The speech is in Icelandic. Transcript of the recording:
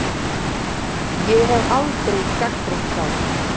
Ég hef aldrei gagnrýnt þá.